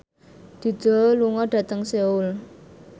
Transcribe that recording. Dido lunga dhateng Seoul